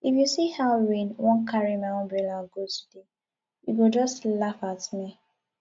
if you see how rain wan carry my umbrella go today you go just laugh at me